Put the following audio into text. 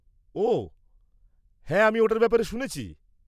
ওঃ, হ্যাঁ আমি ওটার ব্যাপারে শুনেছি।